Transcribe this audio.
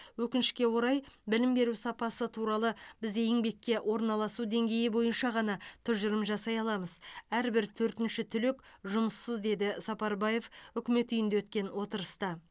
өкінішке орай білім беру сапасы туралы біз еңбекке орналасу деңгейі бойынша ғана тұжырым жасай аламыз әрбір төртінші түлек жұмыссыз деді сапарбаев үкімет үйінде өткен отырыста